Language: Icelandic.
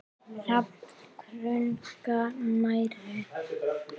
Hrafn krunkar nærri.